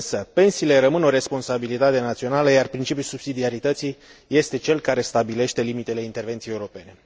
Pensiile rămân însă o responsabilitate națională, iar principiul subsidiarității este cel care stabilește limitele intervenției europene.